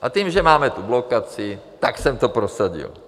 A tím, že máme tu blokaci, tak jsem to prosadil.